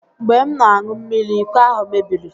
Mgbe m na-aṅụ mmiri, iko ahụ mebiri